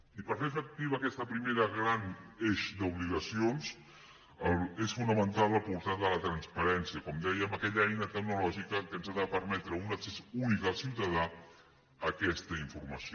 i per fer efectiva aquest primer gran eix d’obligacions és fonamental el portal de la transparència com dèiem aquella eina tecnològica que ens ha de permetre un accés únic al ciutadà a aquesta informació